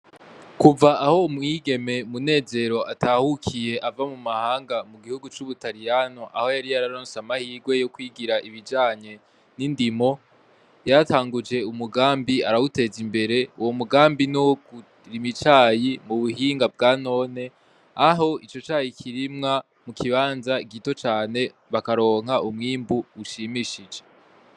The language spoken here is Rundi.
Kuva aho umwigeme Munezero atahukiye ava mu mahanga mugihugu cu Ubutariyano aho yari yararonse amahirwe yokwigira ibijanye nindimo yaratanguje umugambi arawuteza imbere uwo mugambi nuwo kurima icayi mu buhinga bwa none aho ico cayi kirimwa mukibanza gito cane bakaronka umwimbu ushimishije